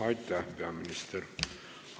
Aitäh, peaminister!